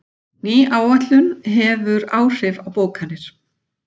Ný áætlun hefur áhrif á bókanir